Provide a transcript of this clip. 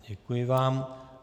Děkuji vám.